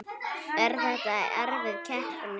Er þetta erfið keppni?